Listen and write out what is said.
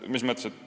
Mis mõttes?